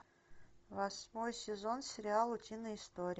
восьмой сезон сериала утиные истории